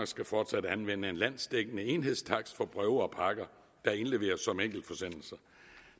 skal fortsat anvende en landsdækkende enhedstakst for breve og pakker der indleveres som enkeltforsendelser